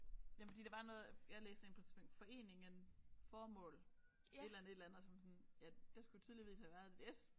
Jamen fordi der var noget jeg læste en på et tidspunkt foreningen formål et eller andet et eller andet og så var man sådan ja der skulle tydeligvis havde været et S